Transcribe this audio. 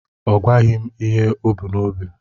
Ọ gwaghị m ihe o bu n'obi.